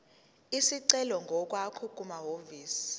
isicelo ngokwakho kumahhovisi